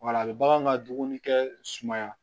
Wala bɛ bagan ka dumuni kɛ sumaya